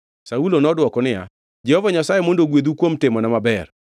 Saulo nodwoko niya, “Jehova Nyasaye mondo ogwedhu kuom timona maber.